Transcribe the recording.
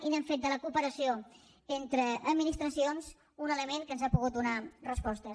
i hem fet de la cooperació entre administracions un element que ens ha pogut donar respostes